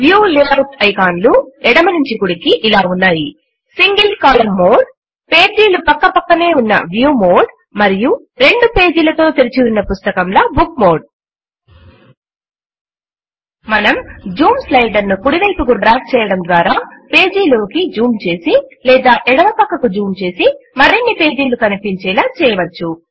view layout ఐకాన్లు ఎడమ నుంచి కుడికి ఇలా ఉన్నాయి సింగిల్ కోలమ్న్ మోడ్ పేజీలు ప్రక్క ప్రక్కనే ఉన్న వ్యూ మోడ్ మరియు రెండు పేజీలతో తెరచిన పుస్తకంల బుక్ మోడ్ మనం జూమ్ స్లైడర్ ను కుడి వైపుకు డ్రాగ్ చేయడము ద్వారా పేజీలోకి జూమ్ చేసి లేదా ఎడమ ప్రక్కకు జూమ్ చేసి మరిన్ని పేజీలు కనిపించేలా చేయవచ్చు